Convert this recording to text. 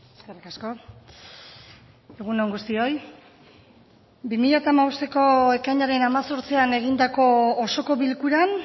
eskerrik asko egun on guztioi bi mila bosteko ekainaren hemezortzian egindako osoko bilkuran